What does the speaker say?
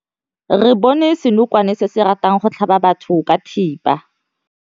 Re bone senokwane se se ratang go tlhaba batho ka thipa.